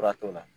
Fura t'o la